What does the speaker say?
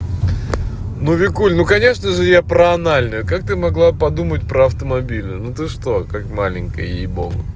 ну викуль ну конечно же я про анальная как ты могла подумать про автомобильную ну ты что как маленькая ей богу